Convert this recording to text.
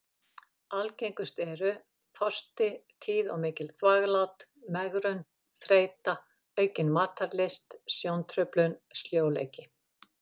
Algengust eru: þorsti, tíð og mikil þvaglát, megrun, þreyta, aukin matarlyst, sjóntruflun, sljóleiki.